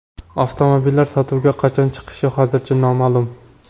Avtomobillar sotuvga qachon chiqishi hozircha noma’lum.